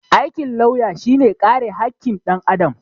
Aikin lauya shi ne kare hakkin ɗan Adam